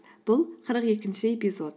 бұл қырық екінші эпизод